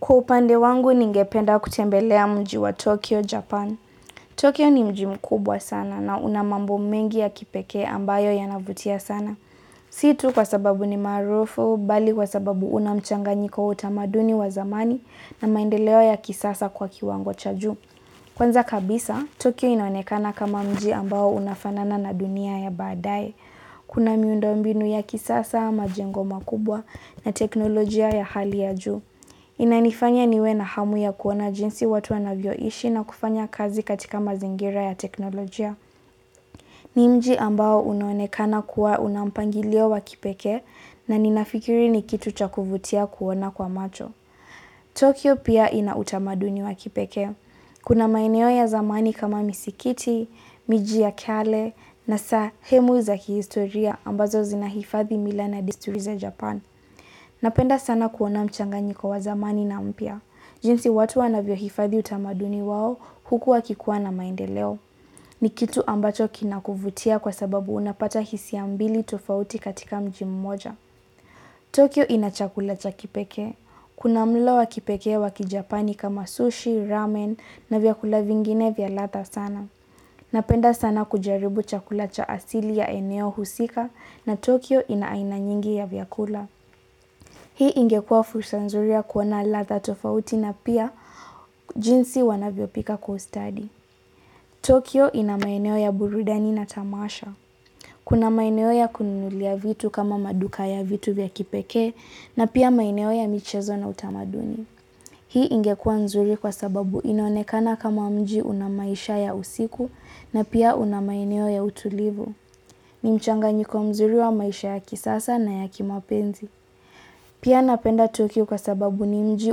Kwa upande wangu ningependa kutembelea mji wa Tokyo, Japan. Tokyo ni mji mkubwa sana na unamambo mengi ya kipekee ambayo yanavutia sana. Si tu kwa sababu ni maarufu, bali kwa sababu unamchanganyiko utamaduni wa zamani na maendeleo ya kisasa kwa kiwango cha juu. Kwanza kabisa, Tokyo inaonekana kama mji ambao unafanana na dunia ya baadaye. Kuna miundo mbinu ya kisasa, majengo makubwa na teknolojia ya hali ya juu. Inanifanya niwe na hamu ya kuona jinsi watu wanavyoishi na kufanya kazi katika mazingira ya teknolojia. Ni mji ambao unonekana kuwa unampangilio wa kipekee na ninafikiri ni kitu chakuvutia kuona kwa macho. Tokyo pia inautamaduni wa kipekee. Kuna maeneo ya zamani kama misikiti, miji ya kale na sehemu za kihistoria ambazo zinahifadhi mila na desturi za japan. Napenda sana kuona mchanganyiko wa zamani na mpya. Jinsi watu wanavyo hifadhi utamaduni wao huku wakikuwa na maendeleo. Ni kitu ambacho kinakuvutia kwa sababu unapata hisia mbili tofauti katika mji mmoja. Tokio inachakula cha kipekee. Kuna mlo wa kipekee wa kijapani kama sushi, ramen na vyakula vingine vyaladha sana. Napenda sana kujaribu chakula cha asili ya eneo husika na Tokyo inaainanyingi ya vyakula. Hii ingekua fursa nzuri ya kuwana ladha tofauti na pia jinsi wanavyo pika kwa ustadi. Tokyo ina maeneo ya burudani na tamasha. Kuna maeneo ya kunulia vitu kama maduka ya vitu vya kipekee na pia maeneo ya michezo na utamaduni. Hii ingekua nzuri kwa sababu inonekana kama mji unamaisha ya usiku na pia unamaeneo ya utulivu. Nimchanga nyiko mzuri wa maisha ya kisasa na ya kimapenzi. Pia napenda Tokyo kwa sababu ni mji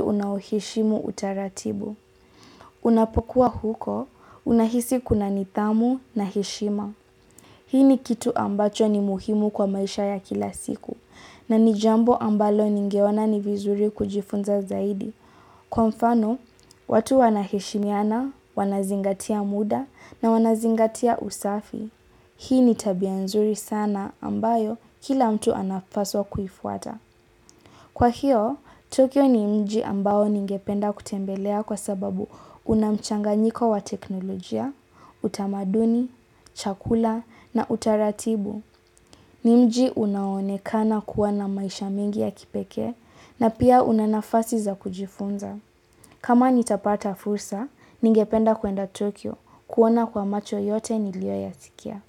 unaheshimu utaratibu. Unapokuwa huko, unahisi kuna nidhamu na heshima. Hii ni kitu ambacho ni muhimu kwa maisha ya kila siku. Na nijambo ambalo ninge ona ni vizuri kujifunza zaidi. Kwa mfano, watu wanaheshimiana, wanazingatia muda na wanazingatia usafi. Hii ni tabia nzuri sana ambayo kila mtu anapaswa kuifuata. Kwa hiyo, Tokyo ni mji ambao ningependa kutembelea kwa sababu unamchanga nyiko wa teknolojia, utamaduni, chakula na utaratibu. Nimji unaone kana kuwa na maisha mingi ya kipekee na pia unanafasi za kujifunza. Kama nitapata fursa, ningependa kuenda Tokyo kuona kwa macho yote nilio ya sikia.